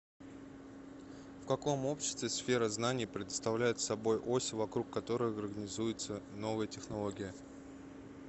в каком обществе сфера знания представляет собой ось вокруг которой организуется новая технология